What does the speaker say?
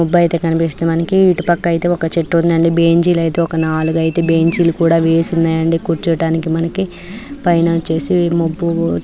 మబ్బు ఐతే కనిపిస్తుంది మనకి. ఇటు వైపు ఒక చెట్టు ఉంది అండి. బెంచులు నాలుగు ఐతే బెంచులు కూడా వేసి ఉన్నాయ్ అండి. కూచోడానికి మనకి పైన వచ్చేసి మొబ్బు --